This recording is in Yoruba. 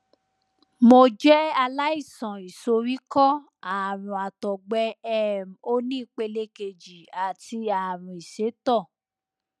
mo jẹ aláìsàn ìsoríkọ ààrùn àtọgbẹ um oní ìpele kejì àti ààrùn ìsétọ